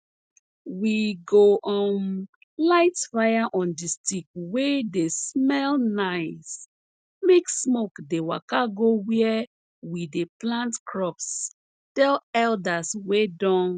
we go um light fire on di stick wey dey smell nice make smoke dey waka go where we dey plant crops tell elders wey don